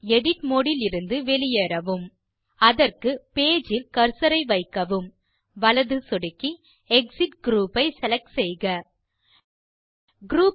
edit mode இலிருந்து வெளியேறவும் அதற்கு பேஜ் இல் கர்சர் ஐ வைக்கவும் வலது சொடுக்கி எக்ஸிட் குரூப் ஐ செலக்ட் செய்க குரூப்